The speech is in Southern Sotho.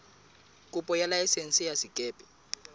kopo ya laesense ya sekepe